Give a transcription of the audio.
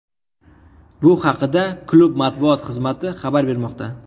Bu haqida klub matbuot xizmati xabar bermoqda.